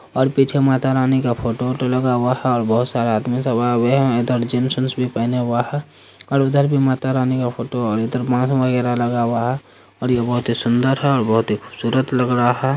--और पीछे माता रानी का फोटो वोटो लगा हुआ है और बहुत सार आदमी सब आए हुए है वह जिन्स विंस भी पहनें हुए है और उधर भी माता रानी का फोटो और इधर लगा हुआ है और ये बहुत ही सुन्दर है और बहुत ही खुबसूरत लग रहा हैं।